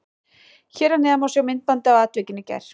Hér að neðan má sjá myndbandið af atvikinu í gær.